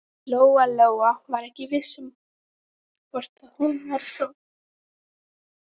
Lóa-Lóa var ekki viss um hvort hún væri sofandi.